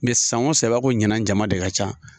Mɛ san o san i b'a fɔ ɲina jama de ka ca.